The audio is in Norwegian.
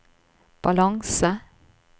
balanse